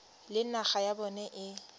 le naga ya bona e